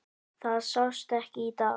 Það sást ekki í dag.